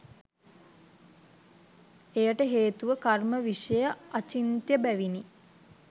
එයට හේතුව කර්ම විෂය අචින්ත්‍ය බැවිනි.